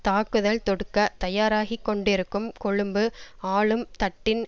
தாக்குதல் தொடுக்கத் தயாராகிக்கொண்டிருக்கும் கொழும்பு ஆளும் தட்டின்